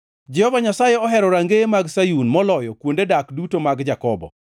Jehova Nyasaye ohero rangeye mag Sayun, moloyo kuonde dak duto mag Jakobo.